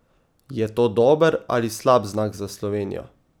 Je to dober ali slab znak za Slovenijo?